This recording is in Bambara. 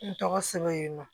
N tɔgɔ sɛbɛn yen nɔ